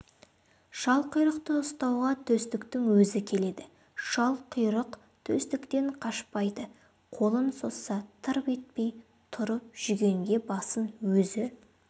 шалқұйрықты ұстауға төстіктің өзі келеді шалқұйрық төстіктен қашпайды қолын созса тырп етпей тұрып жүгенге басын өзі